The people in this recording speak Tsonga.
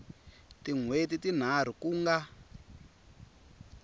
tin hweti tinharhu ku nga